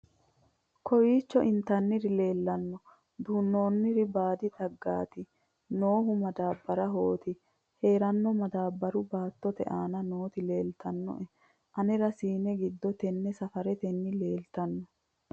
kowiicho intannire lawannore duunnoonnniri baadi xaggati noohu madaabbarahooti heerona madaabbaru baattote aana nooti leeltannoe anera siine giddo tenne safaranniti leeltanno